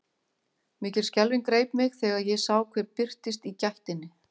Mikil skelfing greip mig þegar ég sá hver birtist í gættinni.